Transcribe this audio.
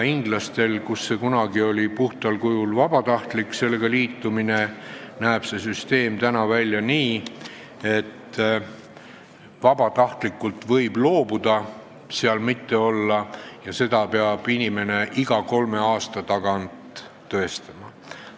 Inglastel oli kunagi sellega liitumine puhtal kujul vabatahtlik, nüüd näeb see süsteem välja nii, et vabatahtlikult võib loobuda ja seda peab inimene iga kolme aasta tagant tõestama.